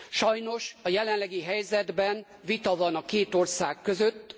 Sajnos a jelenlegi helyzetben vita van a két ország között.